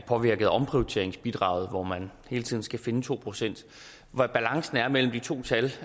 påvirket af omprioriteringsbidraget hvor man hele tiden skal finde to procent hvad balancen er mellem de to tal